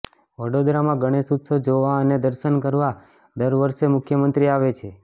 વડોદરામાં ગણેશ ઉત્સવ જોવા અને દર્શન કરવા દર વર્ષે મુખ્યમંત્રી આવે છે